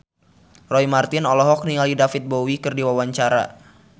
Roy Marten olohok ningali David Bowie keur diwawancara